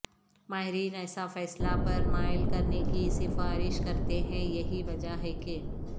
ماہرین ایسا فیصلہ پر مائل کرنے کی سفارش کرتے ہیں یہی وجہ ہے کہ